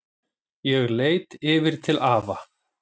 Ég leit yfir til afa.